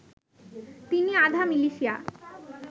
তিনি আধা মিলিশিয়া